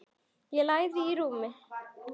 Og lagðist í rúmið.